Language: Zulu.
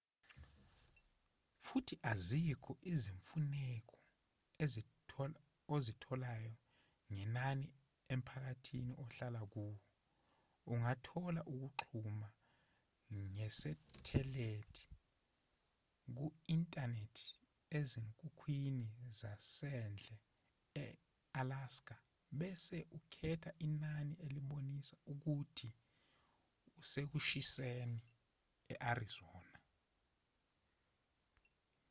futhi azikho izimfuneko ozitholayo ngenani emphakathini ohlala kuwo ungathola ukuxhuma ngesethelithi ku-inthanethi ezinkukhwini zasendle e-alska bese ukhetha inani elibonisa ukuthi usekushiseni e-arizona